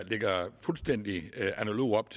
fuldstændig analoge